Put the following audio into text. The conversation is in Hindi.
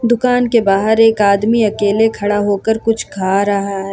दुकान के बाहर एक आदमी अकेले खड़ा होकर कुछ खा रहा है।